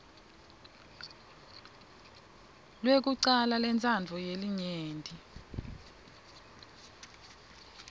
lwekucala lwentsandvo yelinyenti